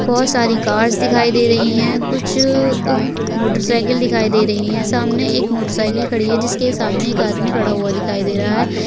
बोहोत सारी कार्स दिखाई दे रही हैं। कुछ उह मोटरसाइकिल दिखाई दे रही हैं। सामने एक मोटरसाइकिल खड़ी है जिसके सामने एक आदमी खड़ा हुआ दिखाई दे रहा है।